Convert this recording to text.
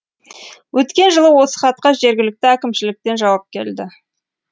өткен жылы осы хатқа жергілікті әкімшіліктен жауап келді